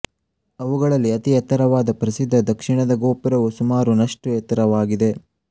ಅವುಗಳಲ್ಲಿ ಅತಿ ಎತ್ತರವಾದ ಪ್ರಸಿದ್ಧ ದಕ್ಷಿಣದ ಗೋಪುರವು ಸುಮಾರು ನಷ್ಟು ಎತ್ತರವಿದೆ